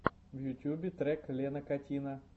в ютьюбе трек лена катина